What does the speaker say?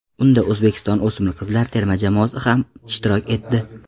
Unda O‘zbekiston o‘smir qizlar terma jamoasi ham ishtirok etdi.